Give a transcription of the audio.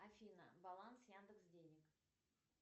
афина баланс яндекс денег